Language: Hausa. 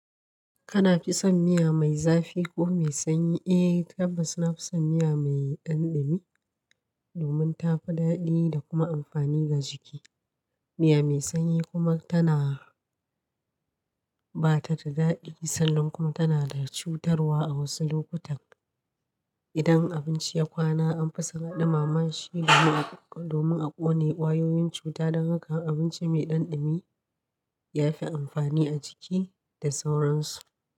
Kana fi son miya mai zafi ko mai sanyi? Eh tabbas na fi son miya mai dan dumi domin tafi daɗi da kuma amfani ga jiki. Miya mai sanyi kuma tana ba ta da daɗi sannan kuma tana da cutarwa a wasu lokutan. Idan abinci ya kwana an fi saka ɗumamashi domin a ƙone ƙwayoyin cuta don haka abinci mai ɗan ɗimi ya fi amfani a jiki da sauransu.